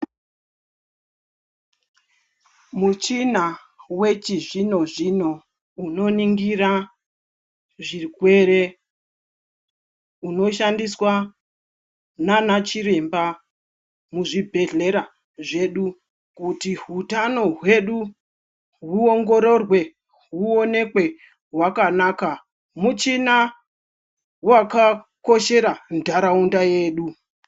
Muchina wechizvinho zvinho unoningira zvirwere unoshandiswa nana chiremba muzvibhedhlera zvedu kuti hutano hwedu huongorerwe huonekwe hwakanaka muchina wakakoshera nharaunda yedu